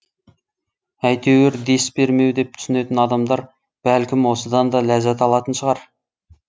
әйтеуір дес бермеу деп түсінетін адамдар бәлкім осыдан да ләззат алатын шығар